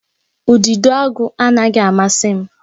Udidoagu anaghị amasị m